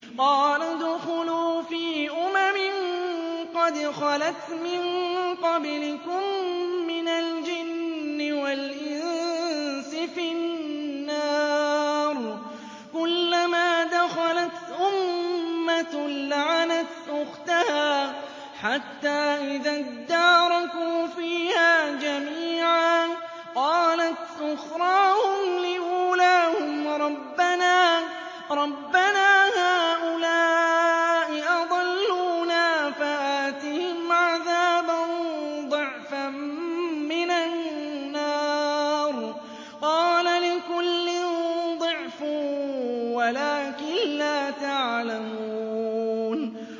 قَالَ ادْخُلُوا فِي أُمَمٍ قَدْ خَلَتْ مِن قَبْلِكُم مِّنَ الْجِنِّ وَالْإِنسِ فِي النَّارِ ۖ كُلَّمَا دَخَلَتْ أُمَّةٌ لَّعَنَتْ أُخْتَهَا ۖ حَتَّىٰ إِذَا ادَّارَكُوا فِيهَا جَمِيعًا قَالَتْ أُخْرَاهُمْ لِأُولَاهُمْ رَبَّنَا هَٰؤُلَاءِ أَضَلُّونَا فَآتِهِمْ عَذَابًا ضِعْفًا مِّنَ النَّارِ ۖ قَالَ لِكُلٍّ ضِعْفٌ وَلَٰكِن لَّا تَعْلَمُونَ